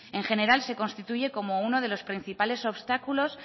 en general se constituye como uno de los principales obstáculos